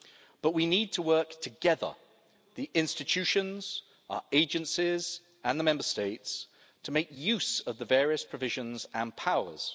But we need to work together the institutions, our agencies and the Member States to make use of the various provisions and powers.